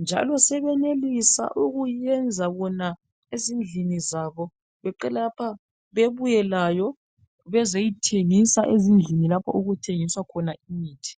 njalo sebenelisa ukuyenza bona ezindlini zabo beqede lapha bebuye layo bezeyithengisa ezindlini lapho okuthengiswa khona imithi